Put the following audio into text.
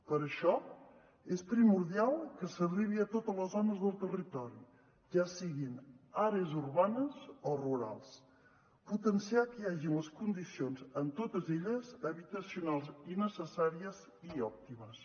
per això és primordial que s’arribi a totes les zones del territori ja siguin àrees urbanes o rurals potenciar que hi hagi les condicions en totes elles habitacionals i necessàries i òptimes